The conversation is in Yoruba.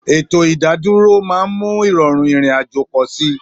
Ètò ìdádúró máa ń mú ìrọ̀rùn ìrìn-àjò pọ̀ sí i.